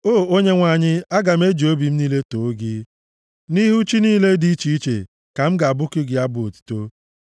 O Onyenwe anyị, aga m eji obi m niile too gị; nʼihu chi niile dị iche iche ka m ga-abụku gị abụ otuto.